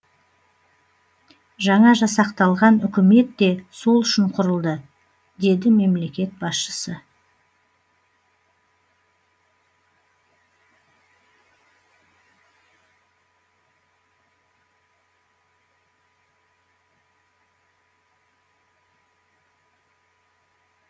жаңа жасақталған үкімет те сол үшін құрылды деді мемлекет басшысы